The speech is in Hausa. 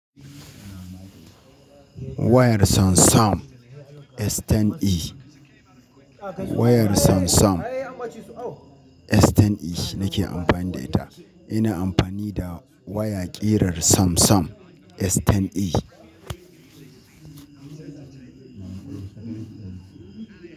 Wayar Samsung S10e. Wayar Samsung S10e nake amfani da ita. Ina amfani da waya ƙirar Samsung S10e.